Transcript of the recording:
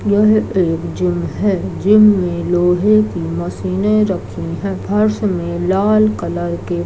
यह एक जिम है जिम में लोहे की मशीने रखी है फर्श में लाल कलर के --